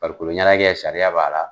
Farikoloɲɛnajɛ sariya b'a la